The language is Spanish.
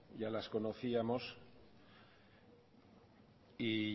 ya las conocíamos y